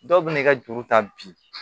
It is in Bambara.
Dɔw bɛ n'i ka juru ta bi